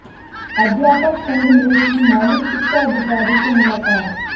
अध्यापक संघ ने की मौलिक शिक्षा अधिकारी से मुलाकात